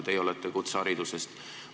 Teie olete kutseharidusest.